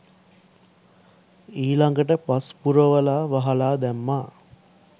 ඊළඟට පස් පුරවලා වහලා දැම්මා